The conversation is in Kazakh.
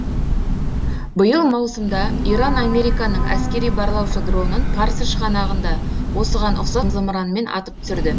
биыл маусымда иран американың әскери барлаушы дронын парсы шығанағында осыған ұқсас зымыранмен атып түсірді